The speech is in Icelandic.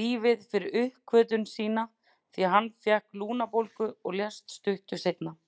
lífið fyrir uppgötvun sína því að hann fékk lungnabólgu og lést stuttu seinna.